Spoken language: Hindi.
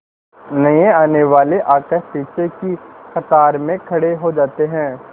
नए आने वाले आकर पीछे की कतार में खड़े हो जाते हैं